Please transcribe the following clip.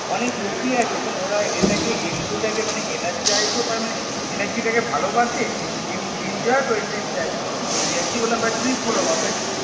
অনেক লোকই আছে এরম ওরা এটাকে enthusiastic টাকে Energize করে মানে Energy টাকে ভালোবাসে EnEnjoy করে Trip type গুলোকে মানে Trip গুলোর কথা